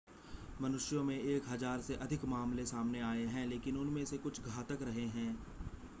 मनुष्यों में एक हज़ार से अधिक मामले सामने आए हैं लेकिन उनमें से कुछ घातक रहे हैं